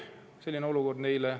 Selline olukord sobib neile.